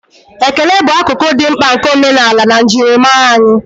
ekele bụ akụkụ dị mkpa nke omenala na njirimara anyị